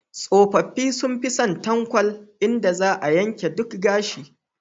Tsofaffi sun fi son tankwal, inda za a yanke duk gashi.